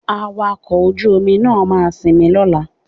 Awakọ̀ ojú-omi máa sinmi lọ́la